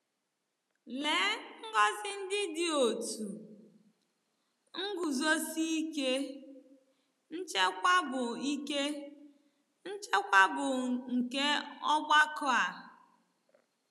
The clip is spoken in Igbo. Lee ngọzi ndị dị otú, nguzosi ike, nchekwa bụ ike, nchekwa bụ nke ọgbakọ a!